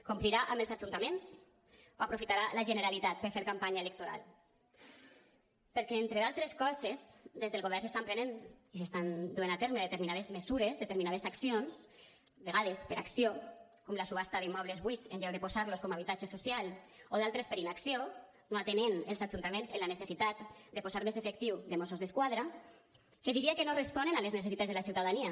complirà amb els ajuntaments o aprofitarà la generalitat per fer campanya electoral perquè entre d’altres coses des del govern s’estan prenent i s’estan duent a terme determinades mesures determinades accions de vegades per acció com la subhasta d’immobles buits en lloc de posar los com a habitatge social o d’altres per inacció no atenent els ajuntaments en la necessitat de posar més efectius de mossos d’esquadra que diria que no responen a les necessitats de la ciutadania